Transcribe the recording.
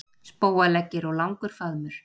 Spóaleggir og langur faðmur.